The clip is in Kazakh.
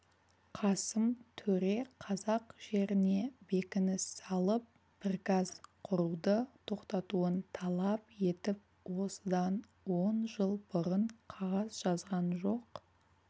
қасым төре қазақ жеріне бекініс салып пірказ құруды тоқтатуын талап етіп осыдан он жыл бұрын қағаз жазған жоқ